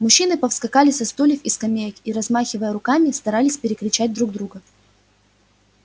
мужчины повскакали со стульев и скамеек и размахивая руками старались перекричать друг друга